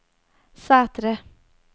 Sætre